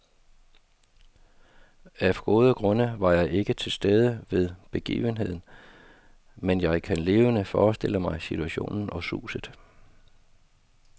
Af gode grunde var jeg ikke til stede ved begivenheden, men jeg kan levende forestille mig situationen og suset.